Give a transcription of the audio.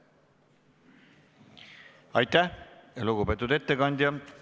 Aitäh, lugupeetud ettekandja!